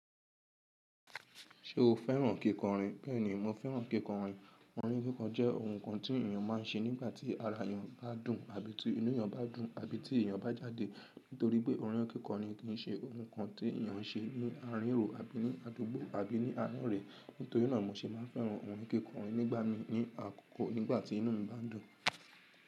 Ṣé o fẹ́ràn kíkọrin? Bẹ́ẹ̀ni, mo fẹ́ràn kíkọrin. Orin kíkọ jẹ́ ohun kan tí èyàn má n ṣe nígbàtí ara èyàn bá dùn, àbí tí inú èyàn bá dùn, àbí tí èyàn bá jáde. Nítorí pé orin kíkọ ni kì í ṣe ohun kan tí èyàn n ṣe ní àárín èrò àbí ní àdúgbò àbí ní ànú re. Nítorí náà mo se máa n fẹ́ràn orin kíkọ nígbà mi ní àkókò nígbàtí inú mi bá n dùn.